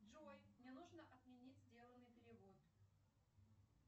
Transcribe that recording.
джой мне нужно отменить сделанный перевод